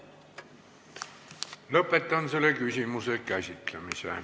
Lõpetan selle küsimuse käsitlemise.